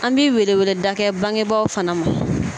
An bi weleweleda kɛ bangebaw fana ma.